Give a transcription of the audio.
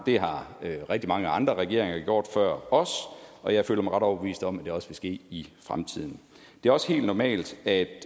det har rigtig mange andre regeringer gjort før os og jeg føler mig ret overbevist om at det også vil ske i fremtiden det er også helt normalt at